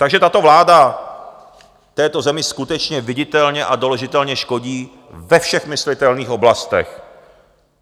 Takže tato vláda této zemi skutečně viditelně a doložitelně škodí ve všech myslitelných oblastech.